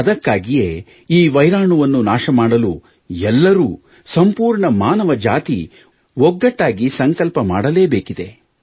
ಅದಕ್ಕಾಗಿಯೇ ವೈರಾಣುವನ್ನು ನಾಶ ಮಾಡಲು ಎಲ್ಲರೂ ಸಂಪೂರ್ಣ ಮಾನವ ಜಾತಿ ಒಗ್ಗಟ್ಟಾಗಿ ಸಂಕಲ್ಪ ಮಾಡಲೇಬೇಕಿದೆ